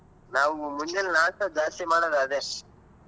ನಾವ್ ಮುಂಜಾನೆ ನಾಷ್ಟ ಜಾಸ್ತಿ ಮಾಡೋದ್ ಅದೆ.